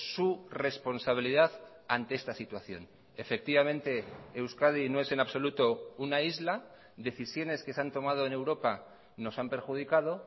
su responsabilidad ante esta situación efectivamente euskadi no es en absoluto una isla decisiones que se han tomado en europa nos han perjudicado